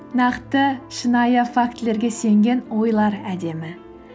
нақты шынайы фактілерге сенген ойлар әдемі